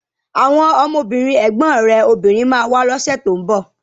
Àwọn ọmọbìnrin ẹ̀gbọ́n rẹ̀ obìnrin ma wá lọ́sẹ̀ tó ń bọ̀